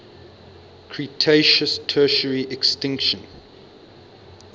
cretaceous tertiary extinction